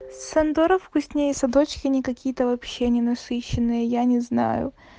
сандора вкуснее садочки они какие-то вообще ненасыщенные я не знаю